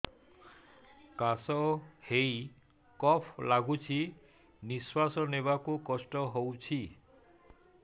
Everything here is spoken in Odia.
କାଶ ହେଇ କଫ ଗଳୁଛି ନିଶ୍ୱାସ ନେବାକୁ କଷ୍ଟ ହଉଛି